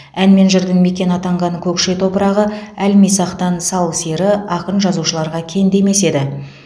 ән мен жырдың мекені атанған көкше топырағы әлмисақтан сал сері ақын жазушыларға кенде емес еді